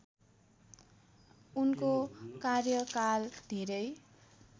उनको कार्यकाल धेरै